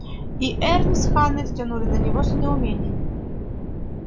и эрни с ханной взглянули на него с недоумением